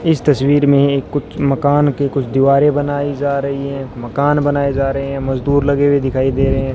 इस तस्वीर में कुछ मकान के कुछ दीवारें बनाई जा रही है मकान बनाए जा रहे हैं मजदूर लगे हुए दिखाई दे रहें --